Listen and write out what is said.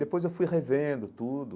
Depois eu fui revendo tudo.